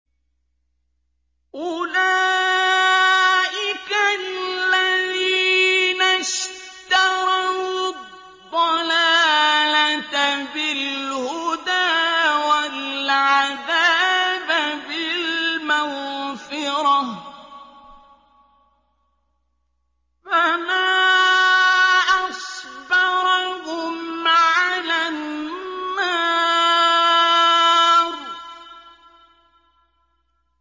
أُولَٰئِكَ الَّذِينَ اشْتَرَوُا الضَّلَالَةَ بِالْهُدَىٰ وَالْعَذَابَ بِالْمَغْفِرَةِ ۚ فَمَا أَصْبَرَهُمْ عَلَى النَّارِ